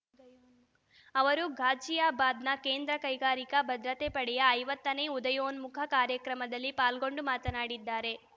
ಅವರು ಘಾಜಿಯಾಬಾದ್‌ನ ಕೇಂದ್ರ ಕೈಗಾರಿಕಾ ಭದ್ರತಾ ಪಡೆಯ ಐವತ್ತನೇ ಉದಯೋನ್ಮುಖ ಕಾರ್ಯಕ್ರಮದಲ್ಲಿ ಪಾಲ್ಗೊಂಡು ಮಾತನಾಡಿದ್ದಾರೆ